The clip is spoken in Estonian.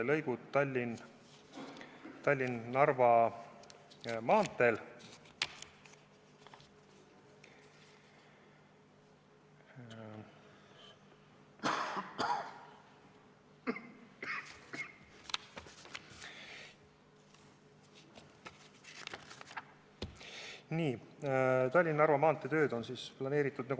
Nagu ma ütlesin, on Tallinna–Narva maantee tööd planeeritud.